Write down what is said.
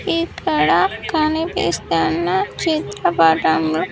ఇక్కడ కనిపిస్తున్న చిత్రపటం--